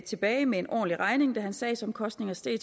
tilbage med en ordentlig regning da hans sagsomkostninger steg